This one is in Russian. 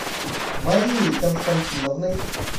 марией константиновной